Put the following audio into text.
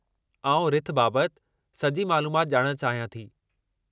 आउं रिथ बाबत सॼी मालूमात ॼाणणु चाहियां थी।